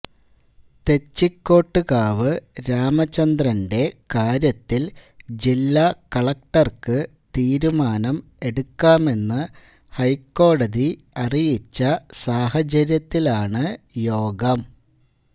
തെച്ചിക്കോട്ടുകാവ് രാമചന്ദ്രന്റെ കാര്യത്തിൽ ജില്ലാ കളക്ടർക്ക് തീരുമാനം എടുക്കാമെന്ന് ഹൈക്കോടതി അറിയിച്ച സാഹചര്യത്തിലാണ് യോഗം